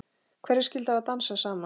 Hverjir skyldu hafa dansað saman?